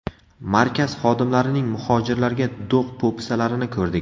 Markaz xodimlarining muhojirlarga do‘q-po‘pisalarini ko‘rdik.